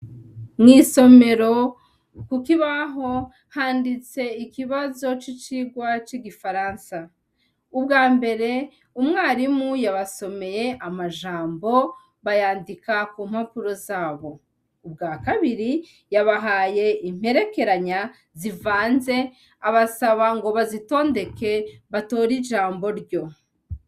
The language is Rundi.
Mwisomero kukibaho ikibazo cicirwa cigifaransa ubwambere umwarimu yabasomeye amajambo babyandika kumpapuro zabo, ubwakabiri yabahaye imperekeranya zivanze abasaba ngo bazitondeke batore ijambo ryo.